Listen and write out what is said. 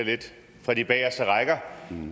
fra de bagerste rækker